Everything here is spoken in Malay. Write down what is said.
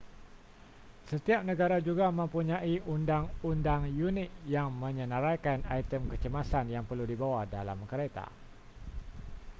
setiap negara juga mempunyai undang-undang unik yang menyenaraikan item kecemasan yang perlu dibawa dalam kereta